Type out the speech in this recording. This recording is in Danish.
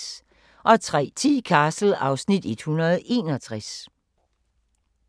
03:10: Castle (Afs. 161)